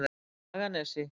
Haganesi